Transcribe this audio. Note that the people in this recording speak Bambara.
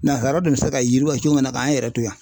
Nansaraw de bɛ se ka yiriwa cogo min na k'an yɛrɛ to yan